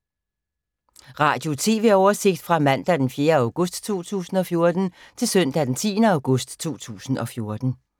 Radio/TV oversigt fra mandag d. 4. august 2014 til søndag d. 10. august 2014